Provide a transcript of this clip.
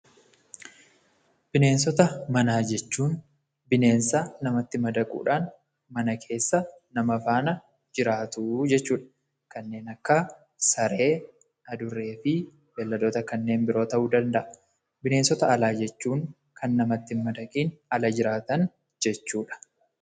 Bineensota manaa jechuun bineensota namatti madaquudhaan mana keessa nama faana jiraatu jechuudha. Kanneen akka saree, adurreefi bineeldota kan biroo ta'uu danda'a. Bineensota alaa jechuun kan namatti hinmadaqiin ala jiraatan jechuudha.